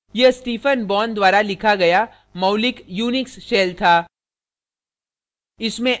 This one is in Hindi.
* यह stephen bourne द्वारा लिखा गया मौलिक unix shell था